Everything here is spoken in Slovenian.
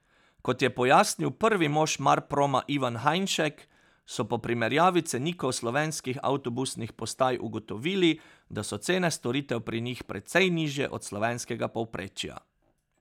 Kot je pojasnil prvi mož Marproma Ivan Hajnšek, so po primerjavi cenikov slovenskih avtobusnih postaj ugotovili, da so cene storitev pri njih precej nižje od slovenskega povprečja.